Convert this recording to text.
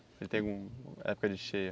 Ele tem alguma época de cheia?